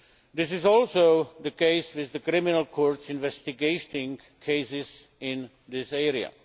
This is also the case with the criminal courts investigating cases in this area.